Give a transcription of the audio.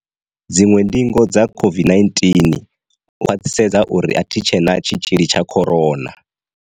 Dziṅwe ndingo dza COVID 19, u khwaṱhisedza uri a thi tshe na tshi tzhili tsha corona.